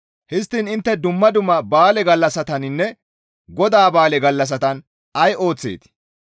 Histtiin intte dumma dumma ba7aale gallassataninne GODAA ba7aale gallassatan ay ooththeetii?